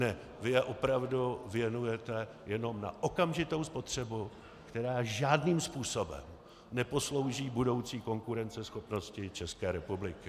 Ne, vy je opravdu věnujete jenom na okamžitou spotřebu, která žádným způsobem neposlouží budoucí konkurenceschopnosti České republiky.